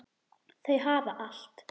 Þau hafa allt.